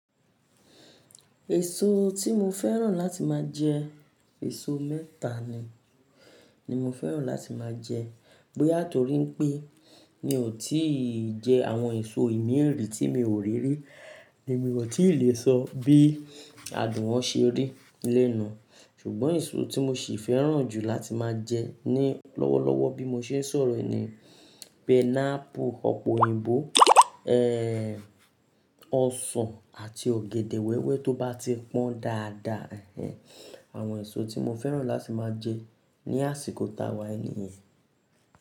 Èso tí mo fẹ́ràn láti máa jẹ, èso mẹ́ta ni, ni mo fẹ́ràn láti máa jẹ. Bóyá torí pé mi ò tí ì jẹ àwọn èso ìmíi tí mi ò rí rí, èmi ò tí ì lè sọ bí adùn wọn ṣe rí lénu. Ṣùgbọ́n èso tí mo ṣì fẹ́ràn jù láti máa jẹ ni lọ́wọ́lọ́wọ́ bí mo ṣe ń sọ̀rọ̀ nì, pineapple, ọ̀pọ̀ òyìnbó, ọsàn àti ọ̀gẹ̀dẹ̀ wẹ́wẹ́ tó bá ti pọ́n dáadáa. Àwọn èso tí mo fẹ́ràn láti máa jẹ ní àsìkò táwà yi ni yen.